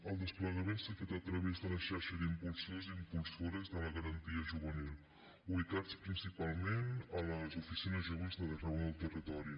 el desplegament s’ha fet a través de la xarxa d’impulsors i impulsores de la garantia juvenil ubicats principalment a les oficines joves d’arreu del territori